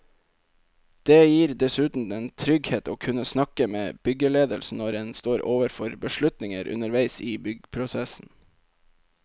Det gir dessuten en trygghet å kunne snakke med byggeledelsen når en står overfor beslutninger underveis i byggeprosessen.